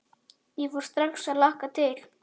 Ég fór strax að hlakka til.